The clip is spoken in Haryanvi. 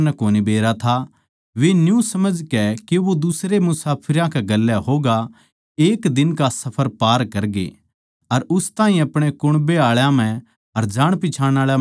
वे न्यू समझकै के वो दुसरे मुसाफिरां कै गेल्या होगा एक दिन का सफर पार करगे अर उस ताहीं अपणे कुण्बे आळा म्ह अर जाणपिच्छाण आळा म्ह टोह्ण लाग्गे